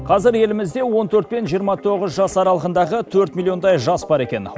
қазір елімізде он төрт пен жиырма тоғыз жас аралығындағы төрт миллиондай жас бар екен